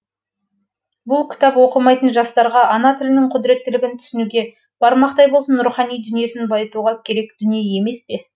бұл кітап оқымайтын жастарға ана тілінің құдіреттілігін түсінуге бармақтай болсын рухани дүниесін байытуға керек дүние емес пе